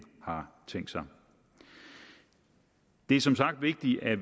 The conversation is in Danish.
har tænkt sig det er som sagt vigtigt at